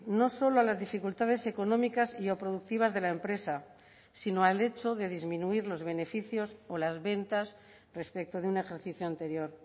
no solo a las dificultades económicas y o productivas de la empresa sino al hecho de disminuir los beneficios o las ventas respecto de un ejercicio anterior